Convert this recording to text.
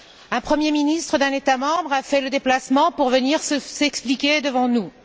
Un Premier ministre d'un État membre a fait le déplacement pour venir s'expliquer devant nous.